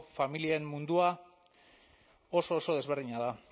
familien mundua oso oso desberdina da